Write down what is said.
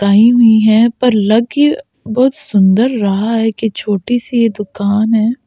गाई हुई है पर लग की बहुत सुंदर रहा है कि छोटी सी ये दुकान है।